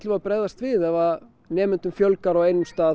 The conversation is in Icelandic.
að bregðast við ef nemendum fjölgar á einum stað